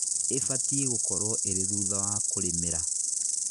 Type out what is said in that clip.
Ībatie gũkorwo ĩrĩ thutha wa kũrĩmĩra